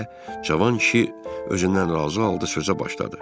Deyə cavan kişi özündən razı halda sözə başladı.